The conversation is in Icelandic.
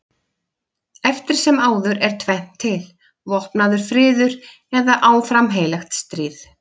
Eftir sem áður er tvennt til: vopnaður friður eða áfram heilagt stríð.